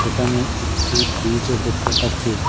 এখানে একটি ব্রিজও দেখতে পাচ্ছি।